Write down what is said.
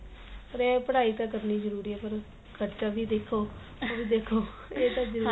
ਪਰ ਇਹ ਏ ਪੜਾਈ ਤਾਂ ਕਰਨੀ ਜਰੂਰੀ ਏ ਪਰ ਖ਼ਰਚਾ ਵੀ ਦੇਖੋ ਉਹ ਵੀ ਦੇਖੋ ਇਹ ਤਾਂ ਜਰੂਰੀ